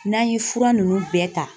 N'an ye fura ninnu bɛɛ ta.